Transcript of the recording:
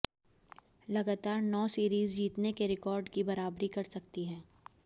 लगातार नौ सीरीज जीतने के रिकॉर्ड की बराबरी कर सकती है